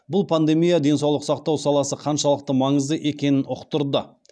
бұл пандемия денсаулық сақтау саласы қаншалықты маңызды екенін ұқтырды